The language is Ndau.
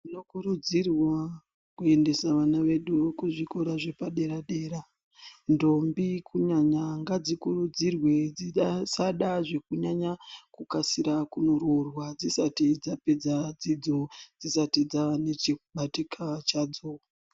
Tinokurudzirwa kuendesa vana vedu kuzvikora zvepadera dera, ndombi kunyanya ngadzikurudzirwe dzisada zvekunyanya kukasira kunoroorwa dzisati dzapedza dzidzo dzisati dzava nechekubatika chadzo.